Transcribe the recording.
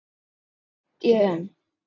Það efast ég um.